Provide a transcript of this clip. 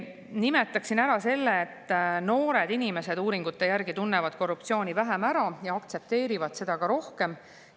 Nimetaksin ära selle, et uuringute järgi tunnevad noored inimesed korruptsiooni vähem ära ja aktsepteerivad seda ka rohkem.